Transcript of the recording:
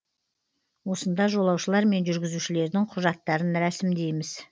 осында жолаушылар мен жүргізушілердің құжаттарын рәсімдейміз